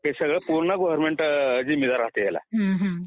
हे सगळं पूर्ण गव्हर्नमेंट जिम्मेदार असतंय ह्याला